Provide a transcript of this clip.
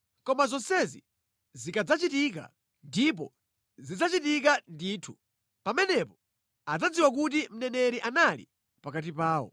“Koma zonsezi zikadzachitika, ndipo zidzachitika ndithu, pamenepo adzadziwa kuti mneneri anali pakati pawo.”